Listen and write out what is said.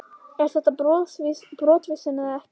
Er þetta brottvísun eða ekki?